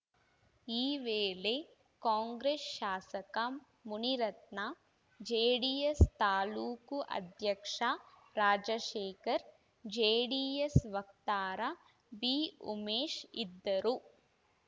ಈ ವೇಳೆ ಕಾಂಗ್ರೆಸ್‌ ಶಾಸಕ ಮುನಿರತ್ನ ಜೆಡಿಎಸ್‌ ತಾಲೂಕು ಅಧ್ಯಕ್ಷ ರಾಜಶೇಖರ್‌ ಜೆಡಿಎಸ್‌ ವಕ್ತಾರ ಬಿಉಮೇಶ್‌ ಇದ್ದರು